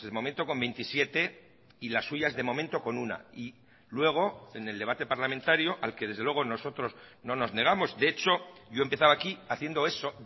momento con veintisiete y las suyas de momento con una y luego en el debate parlamentario al que desde luego nosotros no nos negamos de hecho yo he empezado aquí haciendo eso